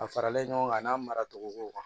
A faralen ɲɔgɔn kan a n'a mara togo kow kan